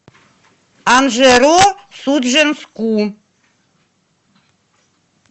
анжеро судженску